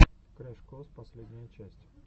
крэш кос последняя часть